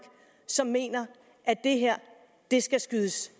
som mener at det her skal skydes